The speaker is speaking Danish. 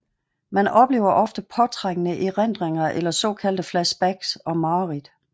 Man oplever ofte påtrængende erindringer eller såkaldte flashbacks og mareridt